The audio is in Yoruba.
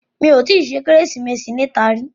Mi ò tí ì ṣe Kérésìmesì níta rí